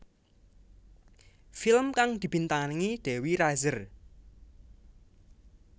Film kang dibintangi Dewi Rezer